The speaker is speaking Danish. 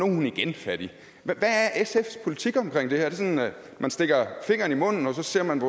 hun igen fattig hvad er sfs politik omkring det her er det sådan at man stikker fingeren i munden og så ser man